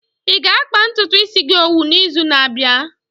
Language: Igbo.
Ị ga-akpa ntutu gi isi owu n'izu na-abịa?